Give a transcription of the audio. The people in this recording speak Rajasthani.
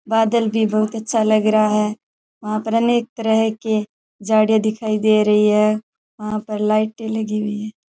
बादल भी बहुत अच्छा लग रहा है वहां पर अनेक तरह के जाड़े दिखाई दे रही है वहां पर लाइटें लगी हुई है।